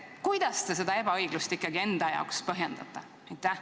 Kuidas te seda ebaõiglust ikkagi enda jaoks põhjendate?